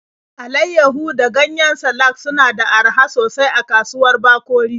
Alaiyahu da ganyen salak suna da araha sosai a kasuwar Bakori.